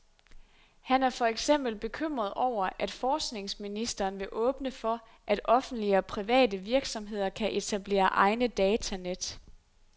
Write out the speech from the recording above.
Han er for eksempel bekymret over, at forskningsministeren vil åbne for, at offentlige og private virksomheder kan etablere egne datanet.